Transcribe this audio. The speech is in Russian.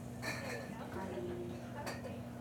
калининска